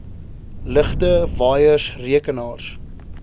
ligte waaiers rekenaars